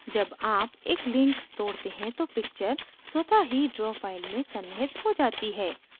जब आप एक link तोड़ते हैं तो picture स्वतः ही draw file में सन्निहित हो जाती है